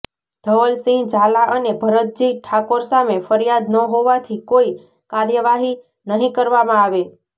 ધવલસિંહ ઝાલા અને ભરતજી ઠાકોર સામે ફરિયાદ ન હોવાથી કોઈ કાર્યવાહી નહીં કરવામાં આવે